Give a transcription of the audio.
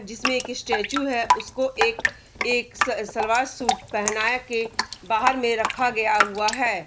जिसमें एक स्टेचू है उसको एक एक सलवार-सूट पहना के बाहर में रखा गया हुआ है।